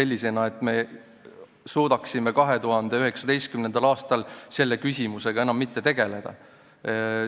Me ei saa 2019. aastal selle küsimusega enam tegeleda.